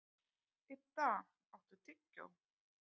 Idda, áttu tyggjó?